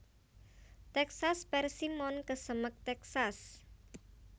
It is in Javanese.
Texas Persimmon kesemek Texas